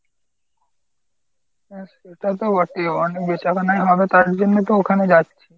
হ্যাঁ সেটা তো বটেই। অনেক বেচাকেনা হবে তারজন্যই তো ওখানে যাচ্ছি।